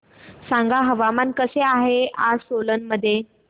सांगा हवामान कसे आहे सोलान मध्ये